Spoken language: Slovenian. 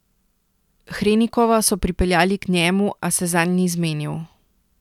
Hrenikova so pripeljali k njemu, a se zanj ni zmenil.